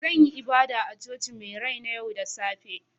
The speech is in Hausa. Zan yi ibada a Cocin mai rai na yau da safe